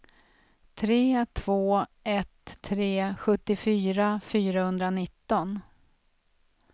tre två ett tre sjuttiofyra fyrahundranitton